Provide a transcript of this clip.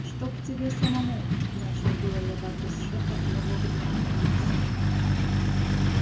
чтобы тебе самому начал было я в адрес шефа но вовремя опомнился